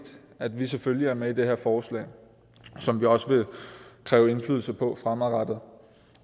at vi selvfølgelig er med i det her forslag som vi også vil kræve indflydelse på fremadrettet